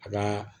A ka